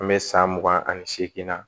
An bɛ san mugan ani seegin na